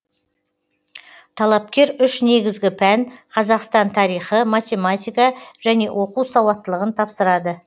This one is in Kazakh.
талапкер үш негізгі пән қазақстан тарихы математика және оқу сауаттылығын тапсырады